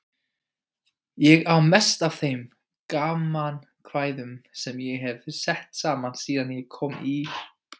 Ég á mest af þeim gamankvæðum sem ég hef sett saman síðan ég kom í